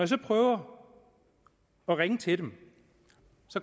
så prøver at ringe til dem